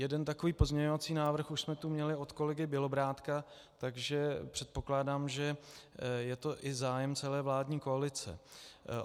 Jeden takový pozměňovací návrh už jsme tu měli od kolegy Bělobrádka, takže předpokládám, že to je i zájem celé vládní koalice.